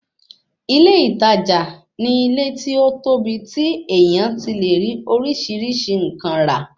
Ilé ìtajà ni ilé tí ó tóbi tí èèyàn ti lè rí oríṣìíríṣìí nǹkan rà